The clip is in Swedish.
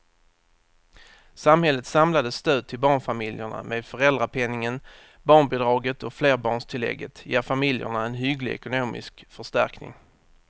Samhällets samlade stöd till barnfamiljerna med föräldrapenningen, barnbidragen och flerbarnstilläggen ger familjerna en hygglig ekonomisk förstärkning.